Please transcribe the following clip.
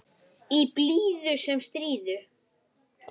Í blíðu sem stríðu.